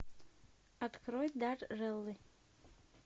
открой дарреллы